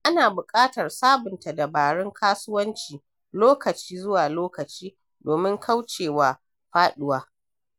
Ana buƙatar sabunta dabarun kasuwanci lokaci zuwa lokaci domin kauce wa faɗuwa.